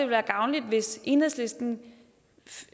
være gavnligt hvis enhedslisten